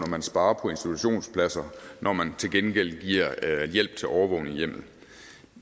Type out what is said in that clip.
man sparer på institutionspladser når man til gengæld giver hjælp til overvågning i hjemmet